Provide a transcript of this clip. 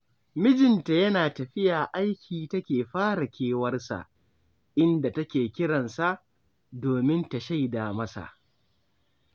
Mijinta yana tafiya aiki take fara kewarsa, inda take kiran sa, domin ta shaida masa.